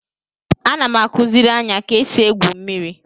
Ana m akuziri Anya ka esi egwu mmiri